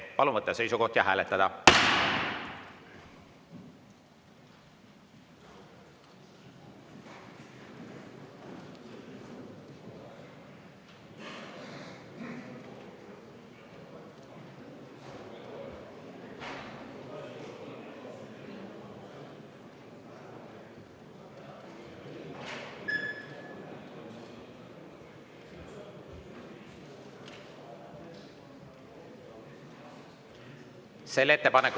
Palun võtta seisukoht ja hääletada!